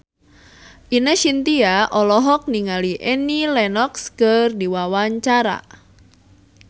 Ine Shintya olohok ningali Annie Lenox keur diwawancara